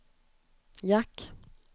jack